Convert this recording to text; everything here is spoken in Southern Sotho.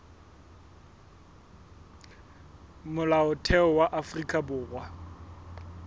molaotheo wa afrika borwa o